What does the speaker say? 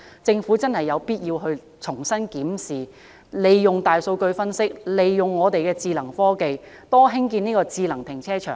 政府真的有必要重新檢視，利用大數據分折，利用智能科技，多興建智能停車場。